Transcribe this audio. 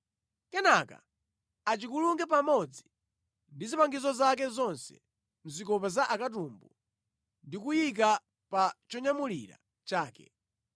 Kenaka achikulunge pamodzi ndi zipangizo zake zonse mʼzikopa za akatumbu ndi kuchiyika pa chonyamulira chake.